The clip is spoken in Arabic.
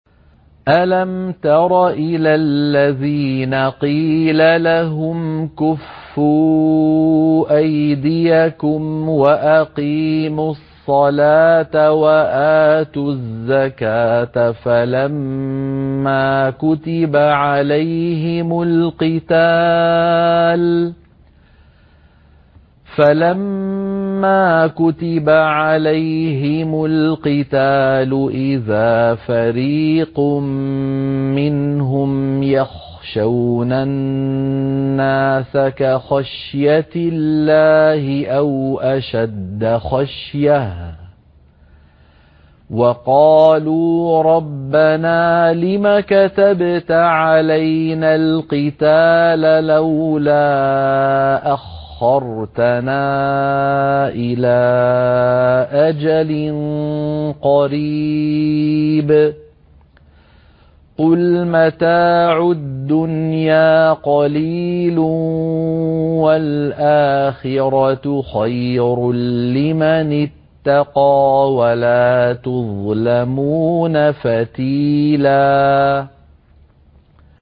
أَلَمْ تَرَ إِلَى الَّذِينَ قِيلَ لَهُمْ كُفُّوا أَيْدِيَكُمْ وَأَقِيمُوا الصَّلَاةَ وَآتُوا الزَّكَاةَ فَلَمَّا كُتِبَ عَلَيْهِمُ الْقِتَالُ إِذَا فَرِيقٌ مِّنْهُمْ يَخْشَوْنَ النَّاسَ كَخَشْيَةِ اللَّهِ أَوْ أَشَدَّ خَشْيَةً ۚ وَقَالُوا رَبَّنَا لِمَ كَتَبْتَ عَلَيْنَا الْقِتَالَ لَوْلَا أَخَّرْتَنَا إِلَىٰ أَجَلٍ قَرِيبٍ ۗ قُلْ مَتَاعُ الدُّنْيَا قَلِيلٌ وَالْآخِرَةُ خَيْرٌ لِّمَنِ اتَّقَىٰ وَلَا تُظْلَمُونَ فَتِيلًا